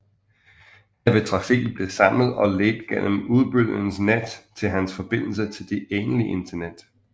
Her vil trafikken blive samlet og ledt gennem udbyderens net til hans forbindelse til det egentlige internet